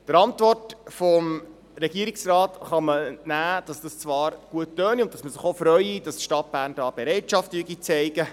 Der Antwort des Regierungsrates kann man entnehmen, dass das zwar gut töne und man sich freue, dass die Stadt Bern hier Bereitschaft zeige.